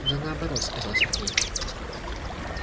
да наоборот сказал сергей